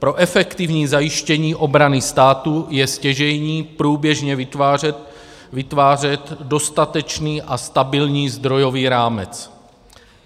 Pro efektivní zajištění obrany státu je stěžejní průběžně vytvářet dostatečný a stabilní zdrojový rámec.